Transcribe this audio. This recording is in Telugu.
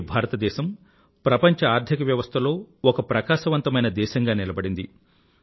నేడు భారతదేశం ప్రపంచ ఆర్థిక వ్యవస్థలో ఒక ప్రకాశవంతమైన దేశంగా నిలబడింది